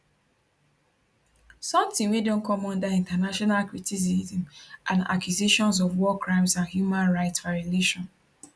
sometin wey don come under international criticism and accusations of war crimes and human rights violation